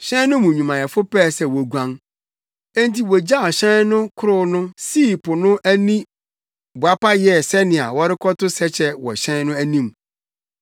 Hyɛn no mu nnwumayɛfo pɛɛ sɛ woguan. Enti wogyaw hyɛn no korow no sii po no ani boapa yɛɛ sɛnea wɔrekɔto sɛkyɛ wɔ hyɛn no anim.